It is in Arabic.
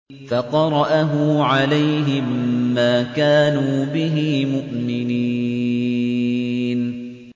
فَقَرَأَهُ عَلَيْهِم مَّا كَانُوا بِهِ مُؤْمِنِينَ